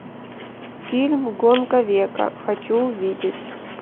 фильм гонка века хочу увидеть